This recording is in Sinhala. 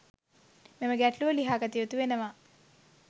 මෙම ගැටලුව ලිහා ගත යුතුවෙනවා.